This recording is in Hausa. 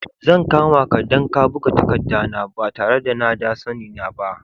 Zan kama ka dan ka buga takadda na ba tare na da sanni na ba.